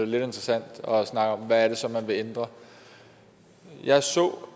lidt interessant at snakke om hvad det så er man vil ændre jeg så